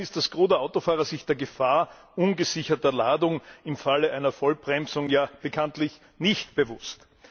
Immerhin ist das Gros der Autofahrer sich der Gefahr ungesicherter Ladung im Falle einer Vollbremsung bekanntlich nicht bewusst.